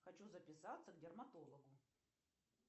хочу записаться к дерматологу